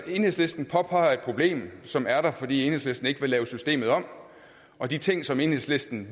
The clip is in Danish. enhedslisten et problem som er der fordi enhedslisten ikke vil lave systemet om og de ting som enhedslisten